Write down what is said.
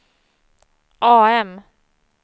AM